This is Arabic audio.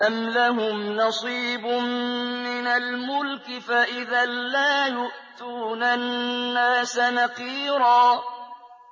أَمْ لَهُمْ نَصِيبٌ مِّنَ الْمُلْكِ فَإِذًا لَّا يُؤْتُونَ النَّاسَ نَقِيرًا